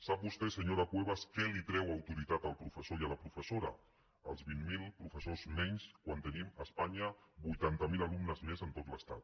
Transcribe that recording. sap vostè senyora cuevas què li treu autoritat al professor i a la professora els vint mil professors menys quan tenim a espanya vuitanta mil alumnes més en tot l’estat